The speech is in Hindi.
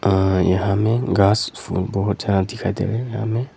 यहां में घास बहोत ज्यादा दिखाई दे रहा यहां में।